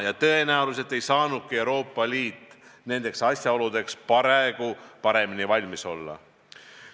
Ja tõenäoliselt ei saanudki Euroopa Liit nendeks asjaoludeks paremini valmis olla.